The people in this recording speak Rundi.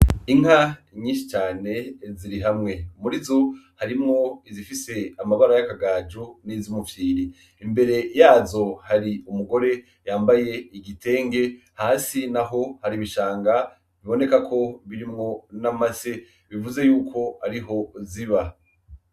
Inka nyinshi cane ziri hamwe, muri zo harimwo izifise amabara y'amagajo n'izumufyiri , imbere yazo umugore yambaye igitenge hasi naho hari ibishanga biboneka ko birimwo n'amase bivuze yuko ariho ziba.